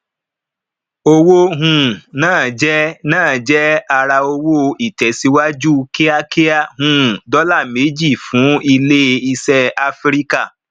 owó um na je na je ara owó itesiwaju kiakia um dola méjì fún ilé ìṣe áfríkà